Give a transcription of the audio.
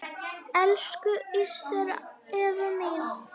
Elsku Ester Eva mín.